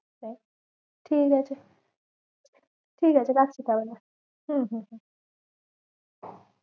ঠিক আছে ঠিক আছে রাখছি তাহলে হম হম হম ।